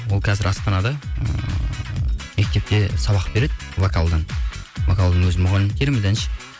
ол қазір астанада ыыы мектепте сабақ береді вокалдан вокалдың өзі мұғалім керемет әнші